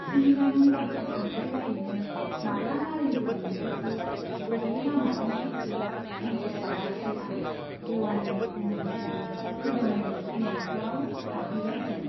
सुमिलानि बाथ्रा सानबाय बायैनो माब्ला नारेंगुरी मोनफैखो , बबे लामाजों फैखो मोनथिस्लाबाखिसै आं देवानीनि उन उन हिन्जाव नाइनो फैनाय न'खराव हाबहैबाय जों।